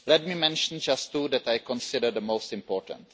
Let me mention just two that I consider the most important.